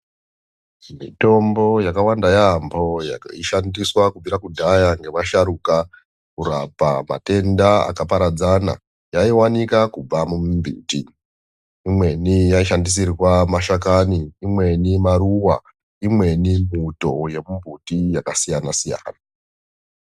Mitombo yakawanda yaamho yaishandiswa kubvira kudhaya nevasharuka kurapa matenda akaparadzana yaivanika kubva mumimbiti. Imweni yaishandisirwa mashakani imweni maruva imweni muto yemumbiti yakasiyana siyana.